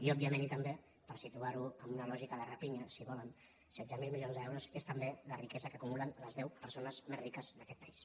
i òbviament i també per situar·ho en una lògica de rapinya si volen setze mil milions d’eu·ros és també la riquesa que acumulen les deu persones més riques d’aquest país